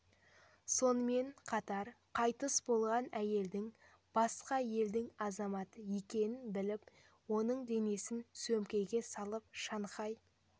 сонымен қатар қайтыс болған әйелдің басқа елдің азаматы екенін біліп оның денесін сөмкеге салып шанхай